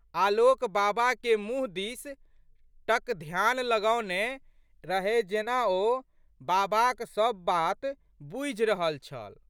आलोक बाबाके मुँह दिस टकध्यान लगौने रहए जेना ओ बाबाक सब बात बूझि रहल छल।